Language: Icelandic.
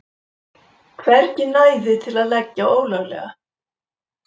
Hvergi næði til að leggja ólöglega